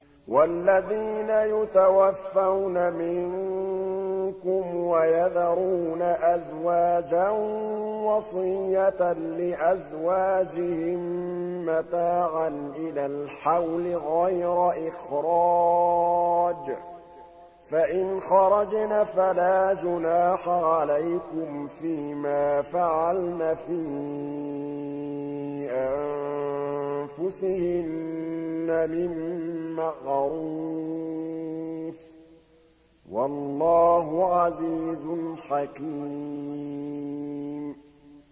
وَالَّذِينَ يُتَوَفَّوْنَ مِنكُمْ وَيَذَرُونَ أَزْوَاجًا وَصِيَّةً لِّأَزْوَاجِهِم مَّتَاعًا إِلَى الْحَوْلِ غَيْرَ إِخْرَاجٍ ۚ فَإِنْ خَرَجْنَ فَلَا جُنَاحَ عَلَيْكُمْ فِي مَا فَعَلْنَ فِي أَنفُسِهِنَّ مِن مَّعْرُوفٍ ۗ وَاللَّهُ عَزِيزٌ حَكِيمٌ